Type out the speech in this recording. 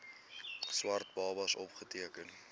swart babas opgeteken